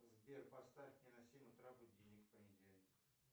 сбер поставь мне на семь утра будильник в понедельник